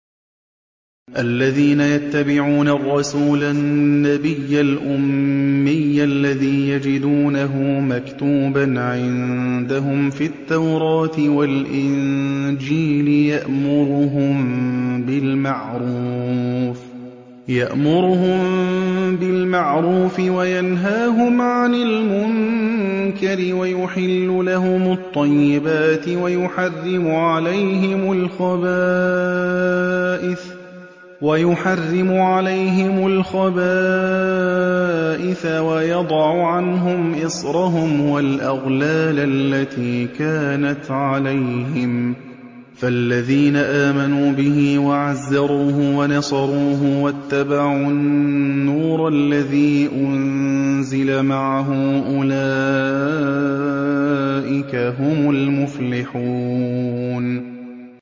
الَّذِينَ يَتَّبِعُونَ الرَّسُولَ النَّبِيَّ الْأُمِّيَّ الَّذِي يَجِدُونَهُ مَكْتُوبًا عِندَهُمْ فِي التَّوْرَاةِ وَالْإِنجِيلِ يَأْمُرُهُم بِالْمَعْرُوفِ وَيَنْهَاهُمْ عَنِ الْمُنكَرِ وَيُحِلُّ لَهُمُ الطَّيِّبَاتِ وَيُحَرِّمُ عَلَيْهِمُ الْخَبَائِثَ وَيَضَعُ عَنْهُمْ إِصْرَهُمْ وَالْأَغْلَالَ الَّتِي كَانَتْ عَلَيْهِمْ ۚ فَالَّذِينَ آمَنُوا بِهِ وَعَزَّرُوهُ وَنَصَرُوهُ وَاتَّبَعُوا النُّورَ الَّذِي أُنزِلَ مَعَهُ ۙ أُولَٰئِكَ هُمُ الْمُفْلِحُونَ